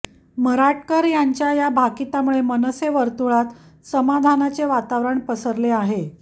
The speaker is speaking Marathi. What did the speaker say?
मराटकर यांच्या या भाकीतामुळे मनसे वर्तुळात समाधानाचे वातावरण पसरले आहे